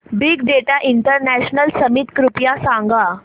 big data international summit कृपया सांगा